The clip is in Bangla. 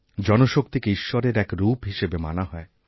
জনশক্তিকে ঈশ্বরের এক রূপ হিসেবে মানা হয়